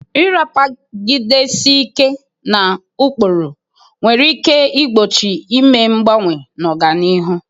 Ịrapagidesi ike na ụkpụrụ nwere ike igbochi ime mgbanwe na ọganihu.